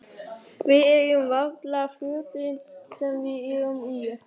Við eigum varla fötin sem við erum í.